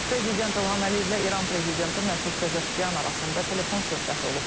Prezident İlham Əliyevlə İran prezidenti Məsud Pezeşkiyan arasında telefon söhbəti olub.